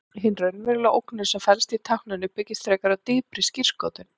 Hin raunverulega ógnun sem felst í tákninu byggist frekar á dýpri skírskotun.